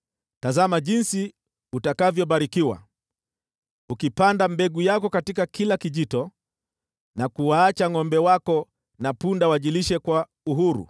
tazama jinsi utakavyobarikiwa, ukipanda mbegu yako katika kila kijito, na kuwaacha ngʼombe wako na punda wajilishe kwa uhuru.